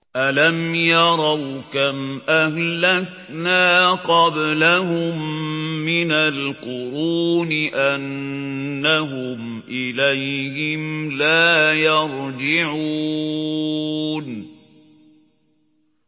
أَلَمْ يَرَوْا كَمْ أَهْلَكْنَا قَبْلَهُم مِّنَ الْقُرُونِ أَنَّهُمْ إِلَيْهِمْ لَا يَرْجِعُونَ